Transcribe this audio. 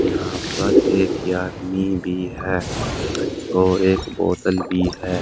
यहां पर एक आदमी भी है और एक बोतल भी है।